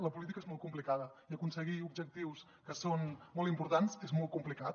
la política és molt complicada i aconseguir objectius que són molt importants és molt complicat